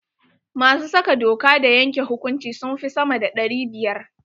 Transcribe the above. Masu saka doka da yanke hukunci sun fi sama da ɗari biyar.